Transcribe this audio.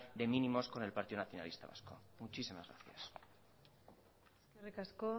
de mínimos con el partido nacionalista vasco muchísimas gracias eskerrik asko